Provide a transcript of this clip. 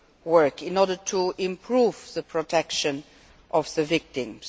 work in order to improve the protection of victims.